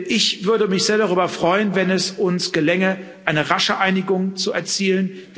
Ich würde mich sehr darüber freuen, wenn es uns gelänge, eine rasche Einigung zu erzielen.